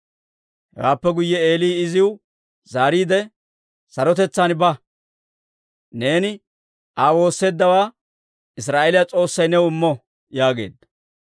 Hewaappe guyye Eeli iziw zaariide, «Sarotetsaan ba; neeni Aa woosseeddawaa Israa'eeliyaa S'oossay new immo» yaageedda.